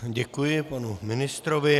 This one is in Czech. Děkuji panu ministrovi.